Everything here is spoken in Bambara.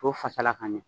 K'o fasala ka ɲɛ